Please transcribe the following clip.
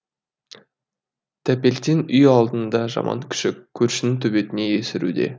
тәпелтең үй алдында жаман күшік көршінің төбетіне есіруде